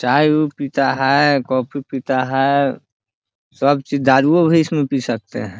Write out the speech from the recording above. चाय उ पीता है कॉफ़ी पीता है सब चीज दारूओ भी इसमें पी सकते है।